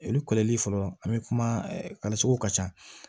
Olu kɔlɔli fɔlɔ an be kuma suguw ka ca